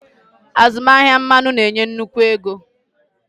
Azụmahịa mmanụ na-enye nnukwu ego.